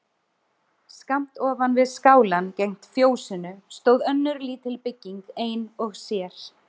Skammt ofan við skálann gegnt fjósinu stóð önnur lítil bygging ein og sér.